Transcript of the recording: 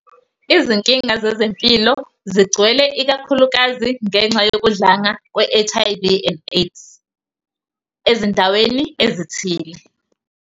Izinkinga zezempilo zigcwele, ikakhulukazi ngenxa yokudlanga kwe- HIV and AIDS ezindaweni ezithile.